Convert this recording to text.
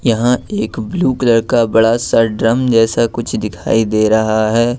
यहां एक blue colour का बड़ा सा ड्रम जैसा कुछ दिखाई दे रहा है।